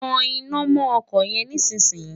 tan iná mọ́ ọkọ̀ yẹn nísìn yìí!